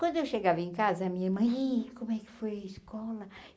Quando eu chegava em casa, a minha irmã... Ih, como é que foi a escola?